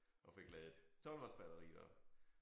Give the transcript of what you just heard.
Og fik ladet 12 volts batteriet op